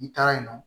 I taara yen nɔ